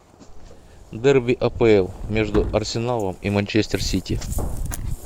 дерби апл между арсеналом и манчестер сити